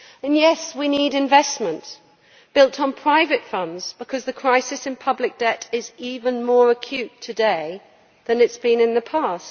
Yes, we need investment, built on private funds because the crisis in public debt is even more acute today than it has been in the past.